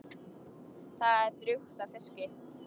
Það er drjúgt af fiski.